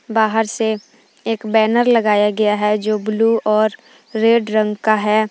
बाहर से एक बैनर लगाया गया है जो ब्लू और रेड रंग का है।